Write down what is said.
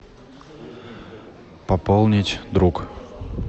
пополнить друг